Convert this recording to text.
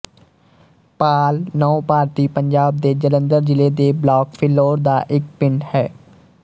ਪਾਲ ਨੌ ਭਾਰਤੀ ਪੰਜਾਬ ਦੇ ਜਲੰਧਰ ਜ਼ਿਲ੍ਹੇ ਦੇ ਬਲਾਕ ਫਿਲੌਰ ਦਾ ਇੱਕ ਪਿੰਡ ਹੈ